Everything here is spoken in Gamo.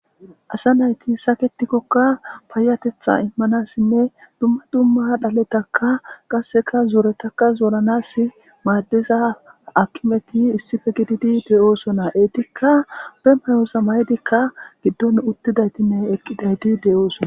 asa nayti saketikkokka payatetha immanassinne dumma dumma dhaletaka qasseka zooretaka zooranas maaddiza akimeti issife gididi de7oosona eetikka be mayoosa maydikka giddon uttidaytinne eqqidayti de7oosona